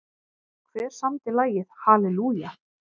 Hver samdi lagið Hallelujah?